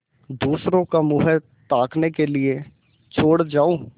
दूसरों का मुँह ताकने के लिए छोड़ जाऊँ